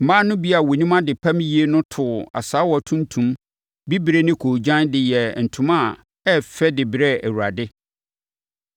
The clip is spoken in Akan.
Mmaa no bi a wɔnim adepam yie no too asaawa tuntum, bibire ne koogyan de yɛɛ ntoma a ɛyɛ fɛ de brɛɛ Awurade.